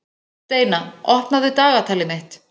Steina, opnaðu dagatalið mitt.